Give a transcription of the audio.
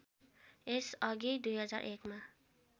यस अघि २००१ मा